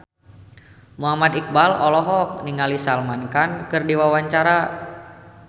Muhammad Iqbal olohok ningali Salman Khan keur diwawancara